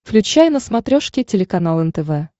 включай на смотрешке телеканал нтв